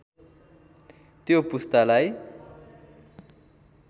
त्यो पुस्तालाई